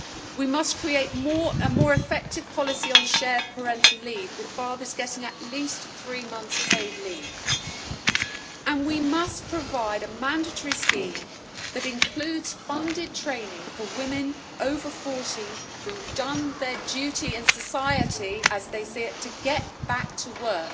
We must create a more effective policy on shared parental leave, with fathers getting at least three months' paid leave, and we must provide a mandatory scheme that includes funded training for women over the age of 40 who have done their duty in society, as they see it, to get back to work.